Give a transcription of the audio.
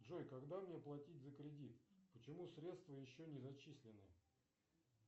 джой когда мне платить за кредит почему средства еще не зачислены